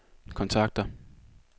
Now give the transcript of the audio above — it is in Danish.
kontakter